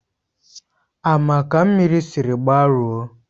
Ama ka mmiri sịrị gbarụo